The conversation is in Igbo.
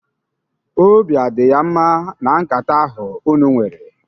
Obi adị ya mma na nkata ahụ unu nwere?